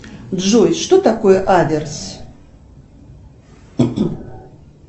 джой что такое аверс